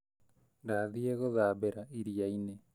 Ndathiĩ gũthambĩra ĩriainĩ